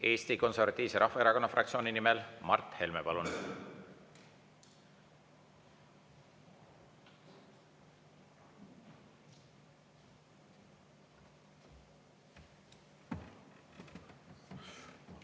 Eesti Konservatiivse Rahvaerakonna fraktsiooni nimel, Mart Helme, palun!